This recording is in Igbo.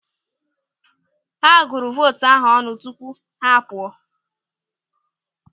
Ha gụrụ vootu ahụ ọnụ tupu ha a pụọ.